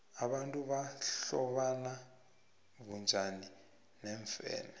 abantu bahlobana bunjani neemfene